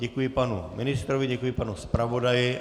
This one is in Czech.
Děkuji panu ministrovi, děkuji panu zpravodaji.